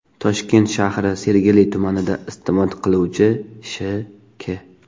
Toshkent shahri Sergeli tumanida istiqomat qiluvchi Sh.K.